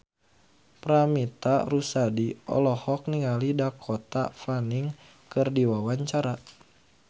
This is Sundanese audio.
Paramitha Rusady olohok ningali Dakota Fanning keur diwawancara